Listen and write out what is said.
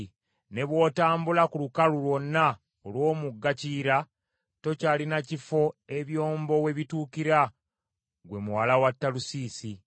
Ne bw’otambula ku lukalu lwonna olw’omugga Kiyira, tokyalina kifo ebyombo we bituukira ggwe muwala wa Talusiisi.